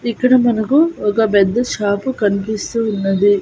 ఇక్కడ మనకు ఒక బెద్ద షాపు కన్పిస్తూ ఉన్నది.